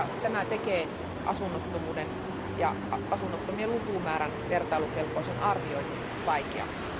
Tämä tekee asunnottomuuden ja asunnottomien lukumäärän vertailukelpoisen arvioinnin vaikeaksi.